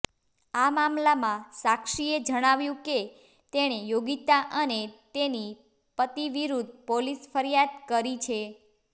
આ મામલામાં સાક્ષીએ જણાવ્યું કે તેણે યોગિતા અને તેની પતિ વિરુદ્ધ પોલીસ ફરિયાદ કરી છે